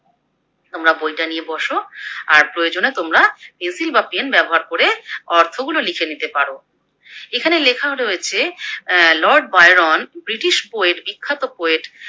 তোমরা বইটা নিয়ে বস, আর প্রয়োজনে তোমরা পেন্সিল বা পেন ব্যবহার করে অর্থগুলো লিখে নিতে পারো। এখানে লেখা রয়েছে লর্ড বায়রন ব্রিটিশ Poet বিখ্যাত Poet ।